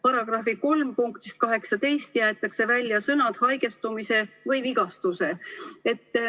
§ 3 punktist 18 jäetakse välja sõnad "haigestumise või vigastuse".